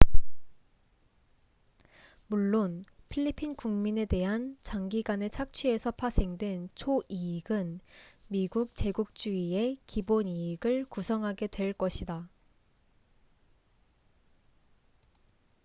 물론 필리핀 국민에 대한 장기간의 착취에서 파생된 초 이익은 미국 제국주의의 기본 이익을 구성하게 될 것이다